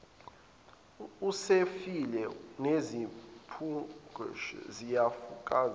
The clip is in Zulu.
usefile nezimpungushe ziyakufakazela